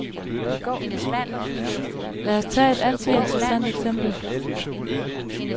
Lad os tage et altid interessant eksempel.